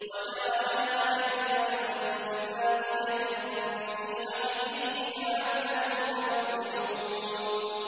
وَجَعَلَهَا كَلِمَةً بَاقِيَةً فِي عَقِبِهِ لَعَلَّهُمْ يَرْجِعُونَ